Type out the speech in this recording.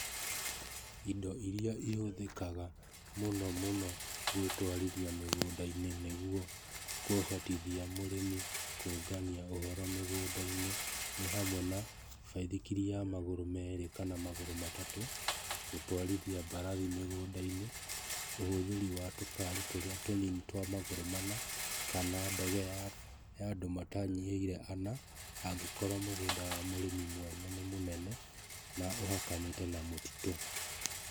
Indo iria ihũthĩkaga mũno mũno gwĩtwarithia mĩgũnda-inĩ nĩguo kũhotithia mũrĩmi kũũngania ũhoro mĩgũnda-inĩ nĩ hamwe na; baithikiri ya magũrũ merĩ kana magũrũ matatũ, gũtwarithia mbarathi mĩgũnda-inĩ, ũhũthĩri wa tũkari tũrĩa tũnini twa magũrũ mana kana ndege ya ya andũ matanyihĩire ana angĩkorwo mũgũnda wa mũrĩmi mwene nĩ mũnene na ũhakanĩte na mũtitũ.